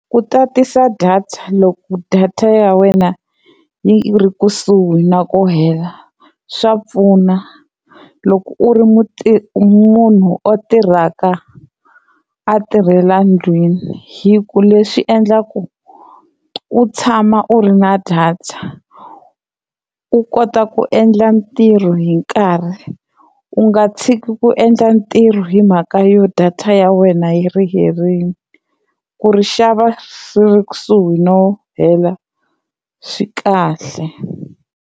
Ku tatisa data loko data ya wena yi ri kusuhi na ku hela swa pfuna loko u ri munhu a tirhaka a tirhela ndlwini hi ku leswi endlaku u tshama u ri na data u kota ku endla ntirho hi nkarhi u nga tshiki ku endla ntirho hi mhaka yo data ya wena yi ri herile ku ri xava ri ri kusuhi no hela swi kahle.